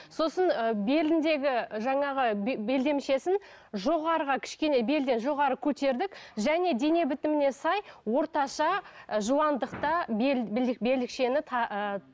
сосын ы беліндегі жаңағы белдемшесін жоғарыға кішкене белден жоғары көтердік және дене бітіміне сай орташа ы жуандықта белдікшені ыыы